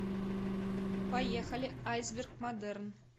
поехали айсберг модерн